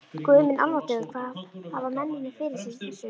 Guð minn almáttugur hvað hafa mennirnir fyrir sér í þessu?